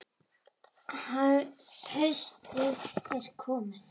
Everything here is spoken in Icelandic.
Haustið er komið.